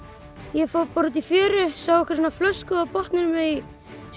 ég fór bara út í fjöru sá einhverja svona flösku á botninum í